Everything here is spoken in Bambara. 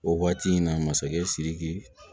O waati in na masakɛ sidiki